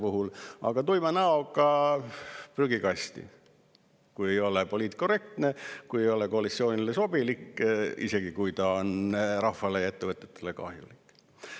Aga visatakse tuima näoga prügikasti, kui ei ole poliitkorrektne, kui ei ole koalitsioonile sobilik, isegi kui on rahvale ja ettevõtetele kahjulik.